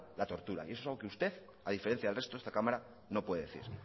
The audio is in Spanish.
la tortura y eso es lo que usted a diferencia del resto de la cámara no puede decir